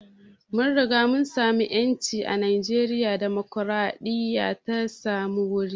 Mun riga mun samu ƴanci a najeriya, dimokraɗiya ta samu wuri